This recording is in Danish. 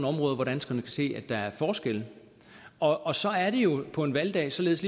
områder hvor danskerne kan se at der er forskelle og og så er det jo på en valgdag således